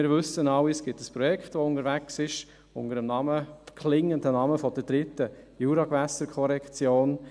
Wir wissen alle, dass ein Projekt unterwegs ist unter dem Namen, unter dem klingenden Namen der «dritten Jurawasserkorrektion».